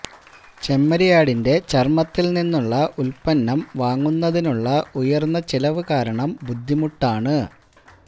ചെമ്മരിയാടിന്റെ ചർമ്മത്തിൽ നിന്നുള്ള ഉൽപ്പന്നം വാങ്ങുന്നതിനുള്ള ഉയർന്ന ചിലവ് കാരണം ബുദ്ധിമുട്ടാണ്